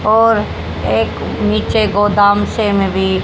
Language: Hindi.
और एक नीचे गोदाम से में भी--